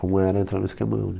Como era entrar no esquemão, né?